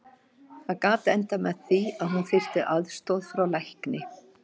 Það gat endað með því að hún þyrfti aðstoð frá lækni.